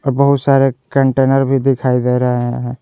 बहुत सारे कंटेनर भी दिखाई दे रहा है।